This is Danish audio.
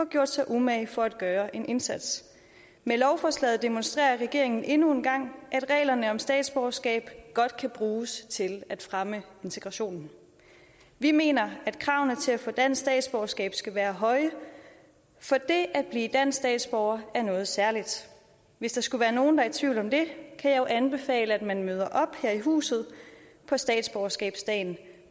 gjort sig umage for at gøre en indsats med lovforslaget demonstrerer regeringen endnu en gang at reglerne om statsborgerskab godt kan bruges til at fremme integrationen vi mener at kravene til at få dansk statsborgerskab skal være høje for det at blive dansk statsborger er noget særligt hvis der skulle være nogen der er i tvivl om det kan jeg anbefale at man møder op her i huset på statsborgerskabsdagen